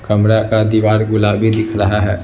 कमरा का दीवार गुलाबी दिख रहा है।